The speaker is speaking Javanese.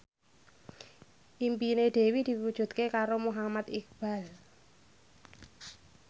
impine Dewi diwujudke karo Muhammad Iqbal